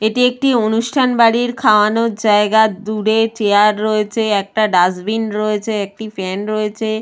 এটি একটি অনুষ্ঠান বাড়ির খাওয়ানোর জায়গাদূরে চেয়ার রয়েছেএকটা ডাস্টবিন রয়েছেএকটি ফ্যান রয়েছে।